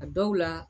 A dɔw la